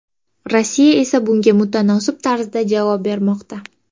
Rossiya esa bunga mutanosib tarzda javob bermoqda.